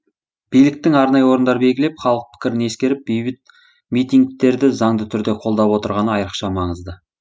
биліктің арнайы орындар белгілеп халық пікірін ескеріп бейбіт митингтерді заңды түрде қолдап отырғаны айрықша маңызды